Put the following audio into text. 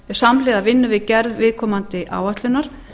samhliða vinnu við gerð viðkomandi áætlunar